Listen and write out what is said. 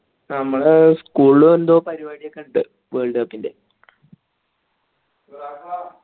നമ്മളെ school ഉം എന്തോ പരുവടിയൊക്കെയുണ്ട് world cup ൻ്റെ